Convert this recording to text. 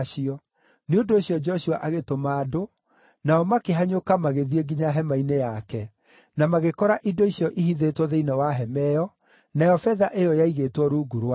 Nĩ ũndũ ũcio Joshua agĩtũma andũ, nao makĩhanyũka magĩthiĩ nginya hema-inĩ yake, na magĩkora indo icio ihithĩtwo thĩinĩ wa hema ĩyo, nayo betha ĩyo yaigĩtwo rungu rwacio.